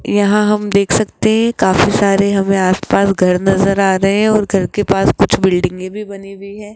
यहां हम देख सकते हैं काफी सारे हमें आसपास घर नजर आ रहे हैं और घर के पास कुछ बिल्डिंगे भी बनी हुई है।